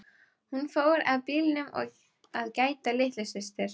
Hún fór að bílnum að gæta að litlu systur.